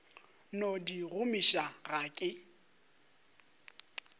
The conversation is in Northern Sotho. no di gomiša ga ke